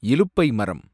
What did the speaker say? இலுப்பை மரம்